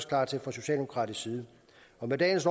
klar til fra socialdemokratisk side med dagens